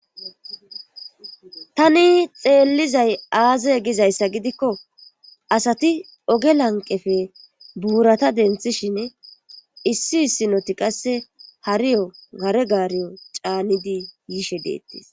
tani xeellizay aaze gizayssa gidikko asati oge lanqefe buurata denthishin issi issinoti qasse hariyo hare gaariyo caanidi yiishe deettis